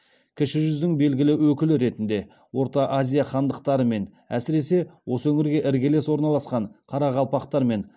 кіші жүздің белгілі өкілі ретінде орта азия хандықтарымен әсіресе осы өңірге іргелес орналасқан қарақалпақтармен